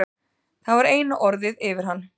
Það var eina orðið yfir hann.